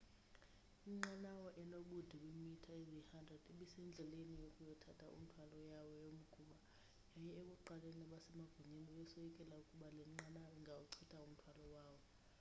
inqanawa enobude beemitha eziyi-100 ibisendleleni yokuyothatha umthwalo yawo yomgquba yaye ekuqaleni abasemagunyeni bebesoyikela ukuba le nqanawa ingawuchitha umthwalo wawo